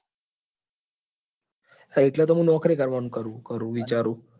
હા એટલે હું નોકરી કરવા નું વિચારું.